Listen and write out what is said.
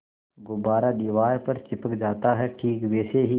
गुब्बारा दीवार पर चिपक जाता है ठीक वैसे ही